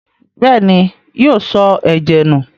Bẹ́ẹ̀ni, yóò sọ ẹ̀jẹ̀ nù.